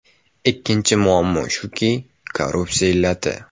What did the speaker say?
Ikkinchi muammo shuki, korrupsiya illati.